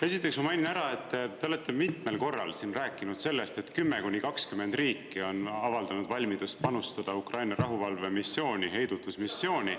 Esiteks ma mainin ära, et te olete mitmel korral rääkinud sellest, et 10 kuni 20 riiki on avaldanud valmidust panustada Ukraina rahuvalvemissiooni, heidutusmissiooni.